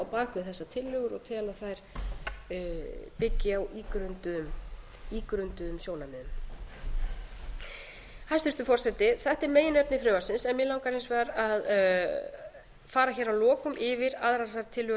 bak við þessar tillögu og tel að þær byggi á ígrunduðum sjónarmiðum hæstvirtur forseti þetta er meginefni frumvarpsins en mig langar hins vegar að fara hér að lokum yfir að aðrar þær tillögur